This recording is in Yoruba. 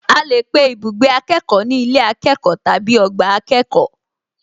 A lè pe ibùgbé akẹ́kọ̀ọ́ ní ilé akẹ́kọ̀ọ́ tàbí ọgbà akẹ́kọ̀ọ́